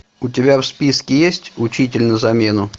у тебя в списке есть учитель на замену